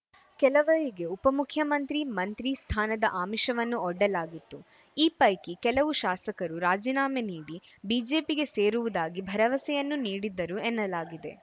ಕೆಲವರಿಗೆ ಉಪಮುಖ್ಯಮಂತ್ರಿ ಮಂತ್ರಿ ಸ್ಥಾನದ ಆಮಿಷವನ್ನೂ ಒಡ್ಡಲಾಗಿತ್ತು ಈ ಪೈಕಿ ಕೆಲವು ಶಾಸಕರು ರಾಜಿನಾಮೆ ನೀಡಿ ಬಿಜೆಪಿಗೆ ಸೇರುವುದಾಗಿ ಭರವಸೆಯನ್ನೂ ನೀಡಿದ್ದರು ಎನ್ನಲಾಗಿದೆ